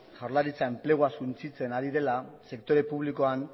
jaurlaritzak enplegua suntsitzen ari dela sektore publikoan